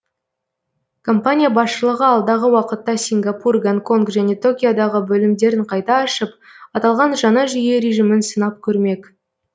компания басшылығы алдағы уақытта сингапур гонконг және токиодағы бөлімдерін қайта ашып аталған жаңа жүйе режимін сынап көрмек